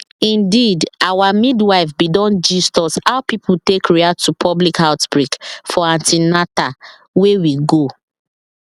indeedour midwife bin don gist us how people take react to public outbreak for an ten al wey we go